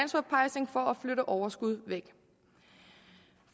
flytte overskud væk